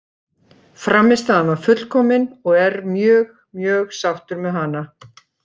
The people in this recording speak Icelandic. Frammistaðan var fullkomin og er mjög mjög sáttur með hana.